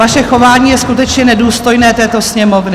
Vaše chování je skutečně nedůstojné této Sněmovny.